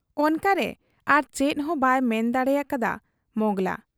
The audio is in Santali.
ᱚᱱᱠᱟᱨᱮ ᱟᱨᱪᱮᱫ ᱦᱚᱸ ᱵᱟᱭ ᱢᱮᱱ ᱫᱟᱲᱮᱭᱟᱠᱟ ᱦᱟᱫ ᱟ ᱢᱚᱸᱜᱽᱲᱞᱟ ᱾